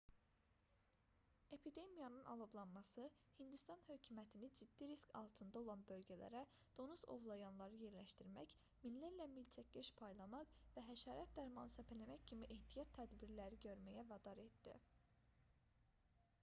epidemiyanın alovlanması hindistan hökumətini ciddi risk altında olan bölgələrə donuz ovlayanları yerləşdirmək minlərlə milçəkkeş paylamaq və həşərat dərmanı səpələmək kimi ehtiyat tədbirləri görməyə vadar etdi